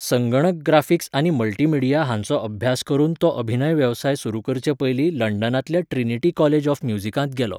संगणक ग्राफिक्स आनी मल्टीमीडिया हांचो अभ्यास करून तो अभिनय वेवसाय सुरू करचे पयलीं लंडनांतल्या ट्रिनिटी कॉलेज ऑफ म्युझिकांत गेलो.